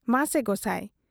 ᱢᱟᱥᱮ ᱜᱚᱸᱥᱟᱭ ᱾